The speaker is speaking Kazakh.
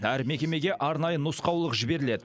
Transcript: әр мекемеге арнайы нұсқаулық жіберіледі